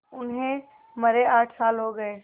उन्हें मरे आठ साल हो गए